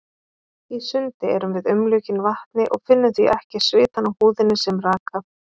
Í sundi erum við umlukin vatni og finnum því ekki svitann á húðinni sem raka.